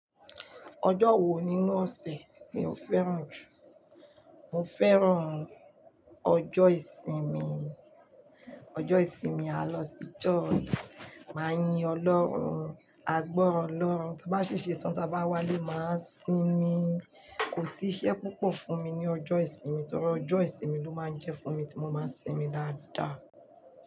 Ọjọ́ wo nínú ọ̀sẹ̀ mi ò fẹ́ràn jù? Mo fẹ́ràn ọjọ́ ìsinmi, ọjọ́ ìsinmi à á lọ sí church, màá yin Ọlọ́run, à gbọrọ Ọlọ́run, tí bá ṣi ṣe tán tí a bá wálé, màá sinmi, kò sí iṣẹ́ púpọ̀ fún mi ní ọjọ́ ìsinmi torí ọjọ́ ìsinmi ló máa ń jẹ́ fún mi tí mo máa ń sinmi dáadáa.